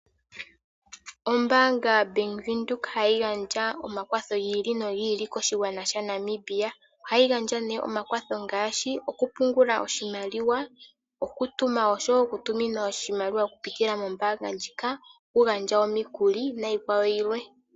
Ombaanga Bank Windhoek hayi gandja omakwatho gi ili nogi ili koshigwana shaNamibia. Ohayi gandja nee omakwatho ngaashi okupungula oshimaliwa, okutuma nosho wo okutuminwa oshimaliwa okupitila mombaanga ndjika, okugandja omikuli niikwawo yilwe.